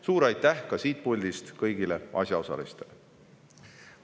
Suur aitäh ka siit puldist kõigile asjaosalistele!